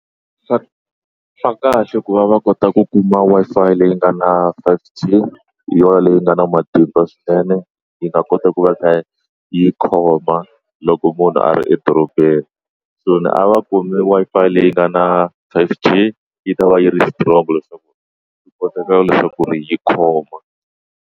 Swa swa kahle ku va va kota ku kuma Wi-Fi leyi nga na five G hi yona leyi nga na matimba swinene yi nga kota ku va yi kha yi khoma loko munhu a ri edorobeni so ni a va kumi Wi-Fi leyi nga na five G yi ta va yi ri strong leswaku yi kota ku leswaku ri yi khoma.